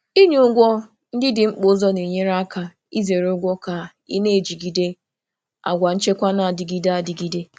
Ịkwanye ụgwọ ndị dị mkpa n'ụzọ mbụ na-enyere aka izere ụgwọ ma na-aga n'ihu na nchekwa mgbe niile.